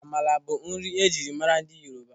Amala bụ nri ejiri maara ndị Yoruba.